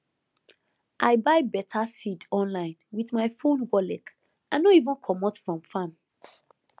i buy beta seed online with my phone wallet i no even comot from farm